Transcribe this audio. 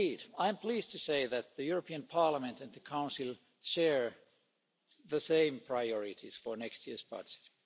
I am pleased to say that the European Parliament and the Council share the same priorities for next year's budget.